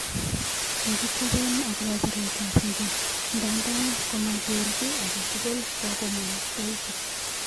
Kokitepen akopa piretap nge, ndadan koma ger kin angetugul kokomwa mstahiki